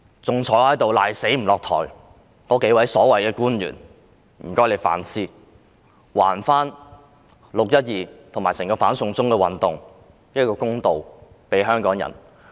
還坐在這裏死不下台的數位所謂官員，我也請他們反思，就"六一二"事件及整場"反送中"運動還香港人一個公道。